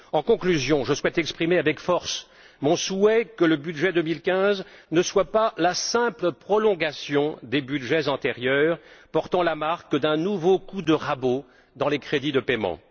En conclusion, je souhaite exprimer avec force mon souhait que le budget 2015 ne soit pas la simple prolongation des budgets antérieurs, portant la marque d'un nouveau coup de rabot dans les crédits de paiement.